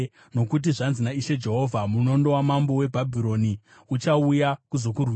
“ ‘Nokuti zvanzi naIshe Jehovha: “ ‘Munondo wamambo weBhabhironi uchauya kuzokurwisa.